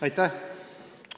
Aitäh!